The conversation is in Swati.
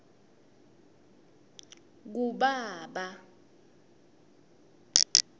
kubaba